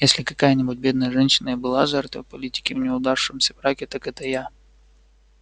если какая-нибудь бедная женщина и была жертвой политики в неудавшемся браке так это я